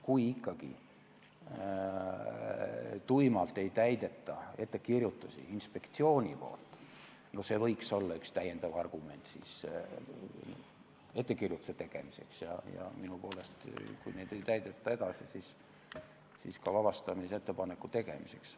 Kui ikkagi tuimalt ei täideta inspektsiooni ettekirjutusi, siis see võiks olla üks täiendavaid argumente ettekirjutuse tegemiseks ja minu poolest, kui neid edasi ei täideta, siis ka vabastamisettepaneku tegemiseks.